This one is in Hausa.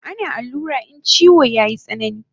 Ana allura in chiwo yayi tsanani